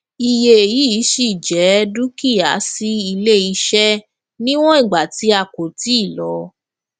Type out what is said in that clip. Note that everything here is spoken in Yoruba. iye yii ṣí jẹ dúkìá sí iléiṣẹ níwọn ìgbà tí a kò ti lo